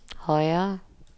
højere